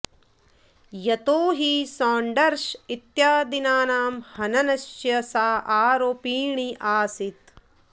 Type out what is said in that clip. यतो हि सॉण्डर्स् इत्यादीनां हननस्य सा आरोपिणी आसीत्